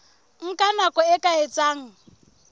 nka nako e ka etsang